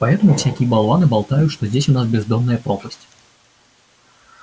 поэтому всякие болваны болтают что здесь у нас бездонная пропасть